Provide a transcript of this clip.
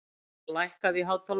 Gýgjar, lækkaðu í hátalaranum.